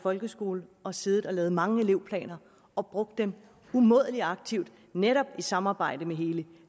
folkeskole og siddet og lavet mange elevplaner og brugt dem umådelig aktivt netop i samarbejdet med hele